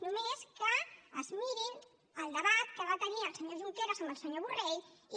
només que es mirin el debat que va tenir el senyor junqueras amb el senyor borrell i